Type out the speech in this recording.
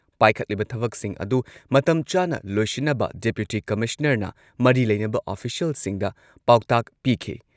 ꯄꯥꯏꯈꯠꯂꯤꯕ ꯊꯕꯛꯁꯤꯡ ꯑꯗꯨ ꯃꯇꯝ ꯆꯥꯅ ꯂꯣꯏꯁꯤꯟꯅꯕ ꯗꯤꯄꯨꯇꯤ ꯀꯃꯤꯁꯅꯔꯅ ꯃꯔꯤ ꯂꯩꯅꯕ ꯑꯣꯐꯤꯁꯤꯌꯦꯜꯁꯤꯡꯗ ꯄꯥꯎꯇꯥꯛ ꯄꯤꯈꯤ꯫